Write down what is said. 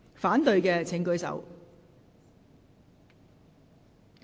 反對的請舉手。